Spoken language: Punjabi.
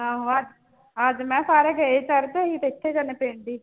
ਆਹੋ ਅ ਅੱਜ ਮੈਂ ਸਾਰੇ ਗਏ ਤੇ ਅਸੀਂ ਤੇ ਇੱਥੇ ਜਾਂਦੇ ਪਿੰਡ ਹੀ।